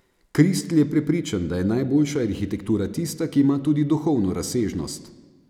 Kristl je prepričan, da je najboljša arhitektura tista, ki ima tudi duhovno razsežnost.